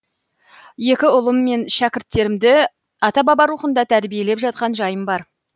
екі ұлым мен шәкірттерімді ата баба рухында тәрбиелеп жатқан жайым бар